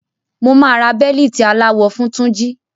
Mo máa ra bẹ̀lìtì aláwọ fun Túnjí.